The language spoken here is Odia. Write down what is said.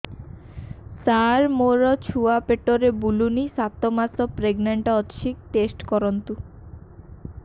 ସାର ମୋର ଛୁଆ ପେଟରେ ବୁଲୁନି ସାତ ମାସ ପ୍ରେଗନାଂଟ ଅଛି ଟେଷ୍ଟ କରନ୍ତୁ